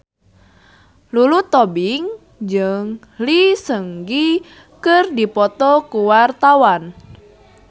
Lulu Tobing jeung Lee Seung Gi keur dipoto ku wartawan